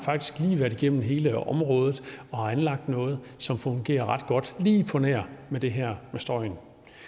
været igennem hele området og har anlagt noget som fungerer ret godt lige på nær det her med støjen